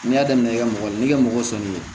N'i y'a daminɛ i ka mɔgɔ ye n'i ka mɔgɔ sɔnni ye